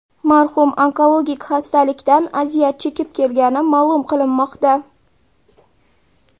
Marhum onkologik xastalikdan aziyat chekib kelgani ma’lum qilinmoqda.